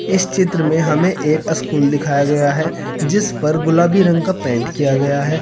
इस चित्र में हमें एक स्कूल दिखाया गया है जिस पर गुलाबी रंग का पेंट किया गया है।